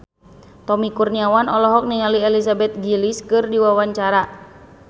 Tommy Kurniawan olohok ningali Elizabeth Gillies keur diwawancara